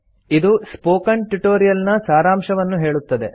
ಇದು spoken tutorial ನ ಸಾರಾಂಶವನ್ನು ಹೇಳುತ್ತದೆ